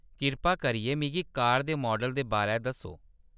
कृपा करियै, मिगी कार दे माडल दे बारै दस्सो।